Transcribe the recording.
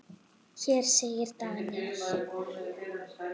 Hér segir Daniel